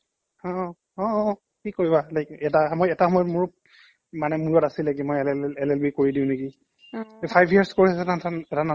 হ অ অ অ কি কৰিবা like এটা মই এটা সময়্ত মোৰ মানে মূৰত আছিলে কি মই এল এল এল LLB কৰি দিও নেকি five years course এটা নাথাকে জানো ?